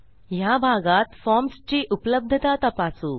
ह्या भागात फॉर्म्सची उपलब्धता तपासू